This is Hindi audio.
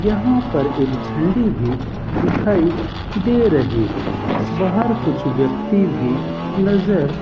यहां पर एक झंडी भी दिखाई दे रही है बाहर कुछ व्यक्ति भी नजर --